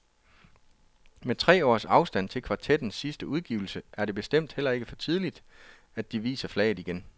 Med tre års afstand til kvartettens sidste udgivelse er det bestemt heller ikke for tidligt at de viser flaget igen.